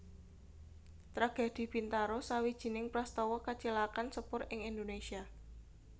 Tragedi Bintaro sawijining prastawa kacilakan sepur ing Indonésia